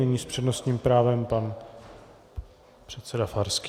Nyní s přednostním právem pan předseda Farský.